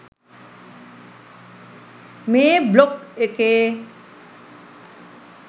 මේ බ්ලොග් එකේ